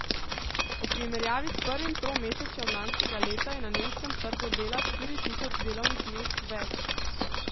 V primerjavi s prvim tromesečjem lanskega leta je na nemškem trgu dela štiri tisoč delovnih mest več.